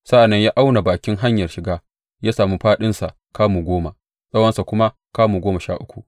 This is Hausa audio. Sa’an nan ya auna bakin hanyar shiga ya sami fāɗinsa kamu goma, tsawonsa kuma kamu goma sha uku.